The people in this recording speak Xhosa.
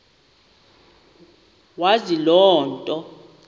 wazi loo nto